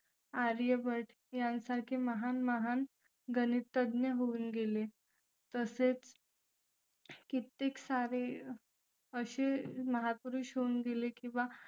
आर्यभट्ट यासारखे महान महान गणितज्ञ होऊन गेले तसेच किती सारे असे महापुरुष होऊन गेले की बा